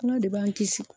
Kuma de b'an kisi